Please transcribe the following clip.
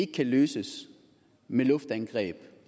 kan løses med luftangreb